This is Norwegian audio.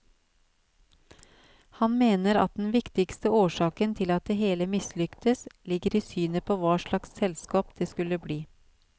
Han mener at den viktigste årsaken til at det hele mislyktes, ligger i synet på hva slags selskap det skulle bli.